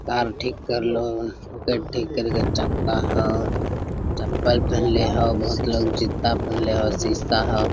Car ठीक करले हो ऊके ठीक करके चक्का हो चप्पल पहन ले हो बहुत लोग जूता पहन ले हो शीशा हो।